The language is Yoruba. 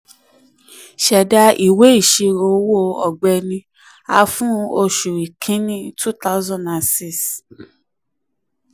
ṣẹda ìwé ìṣirò owó ọ̀gbẹ́ni a fún oṣù kínní two thousand six.